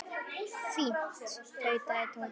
Fínt tautaði Tóti.